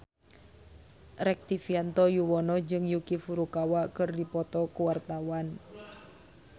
Rektivianto Yoewono jeung Yuki Furukawa keur dipoto ku wartawan